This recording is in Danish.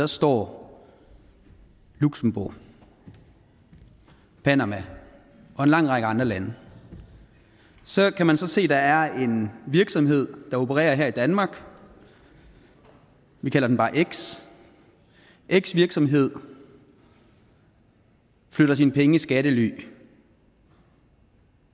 står luxembourg og panama og en lang række andre lande så kan man så se at der er en virksomhed der opererer her i danmark vi kalder den bare x x virksomhed flytter sine penge i skattely